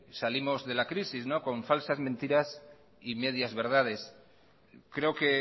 salimos de la crisis con falsas mentiras y medias verdades creo que